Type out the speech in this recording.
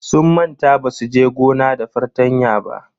Sun manta basu je gona da fartanya ba.